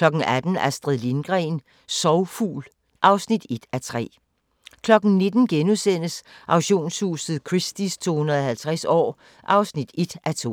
18:00: Astrid Lindgren – Sorgfugl (1:3)* 19:00: Auktionshuset Christie's 250 år (1:2)*